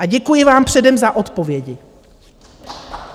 A děkuji vám předem za odpovědi.